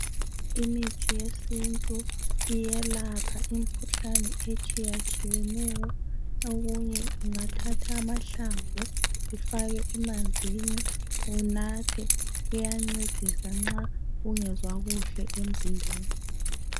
Imithi yesintu iyelapha imikhuhlane etshiyatshiyeneyo okunye ungathatha amahlamvu ufake emanzini unathe . Kuyancedisa nxa ungezwa kuhle emzimbeni.